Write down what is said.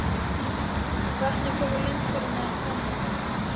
Vatnið kom úr lind fyrir neðan hvamminn.